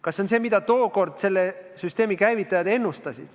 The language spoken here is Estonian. Kas see on see, mida tookord selle süsteemi käivitajad ennustasid?